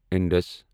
اِنٛدَس